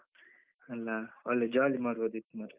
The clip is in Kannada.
ಅಲ್ಲ ಒಳ್ಳೆ jolly ಮಾಡ್ಬೋದಿತ್ತು ಮಾರ್ರೆ.